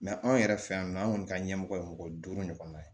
anw yɛrɛ fɛ yan nɔ an kɔni ka ɲɛmɔgɔ ye mɔgɔ duuru ɲɔgɔnna ye